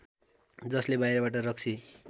जसले बाहिरबाट रक्सी